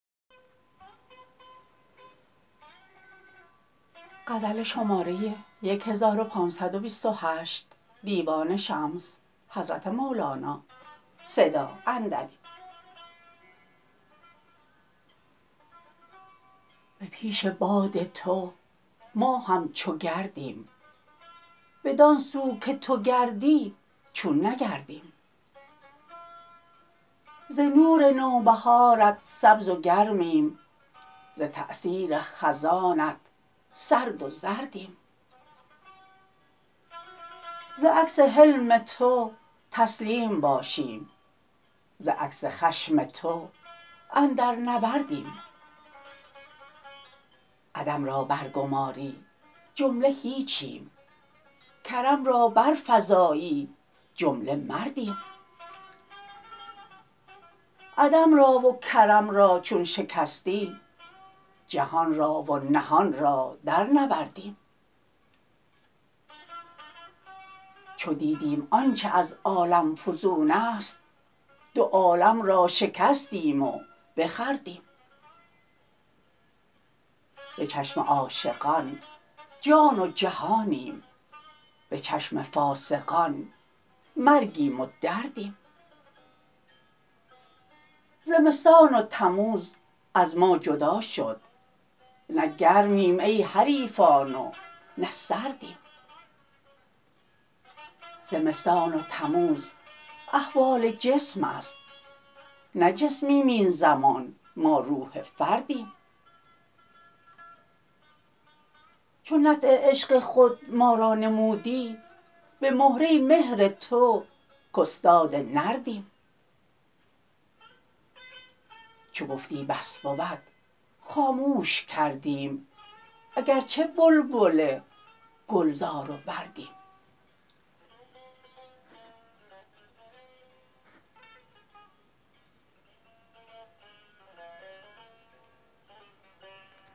به پیش باد تو ما همچو گردیم بدان سو که تو گردی چون نگردیم ز نور نوبهارت سبز و گرمیم ز تأثیر خزانت سرد و زردیم ز عکس حلم تو تسلیم باشیم ز عکس خشم تو اندر نبردیم عدم را برگماری جمله هیچیم کرم را برفزایی جمله مردیم عدم را و کرم را چون شکستی جهان را و نهان را درنوردیم چو دیدیم آنچ از عالم فزون است دو عالم را شکستیم و بخوردیم به چشم عاشقان جان و جهانیم به چشم فاسقان مرگیم و دردیم زمستان و تموز از ما جدا شد نه گرمیم ای حریفان و نه سردیم زمستان و تموز احوال جسم است نه جسمیم این زمان ما روح فردیم چو نطع عشق خود ما را نمودی به مهره مهر تو کاستاد نردیم چو گفتی بس بود خاموش کردیم اگر چه بلبل گلزار و وردیم